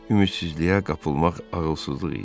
Ümidsizliyə qapılmaq ağılsızlıq idi.